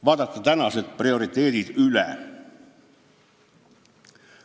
Vaadake tänased prioriteedid üle.